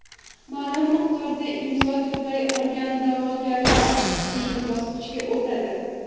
Ma’lum miqdorda imzo to‘play olgan da’vogarlar keyingi bosqichga o‘tadi.